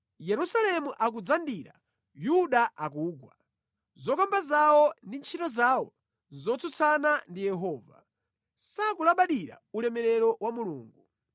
Yerusalemu akudzandira, Yuda akugwa; zokamba zawo ndi ntchito zawo nʼzotsutsana ndi Yehova, sakulabadira ulemerero wa Mulungu.